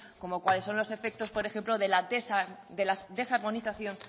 como cuáles son los efectos por ejemplo de la desarmonización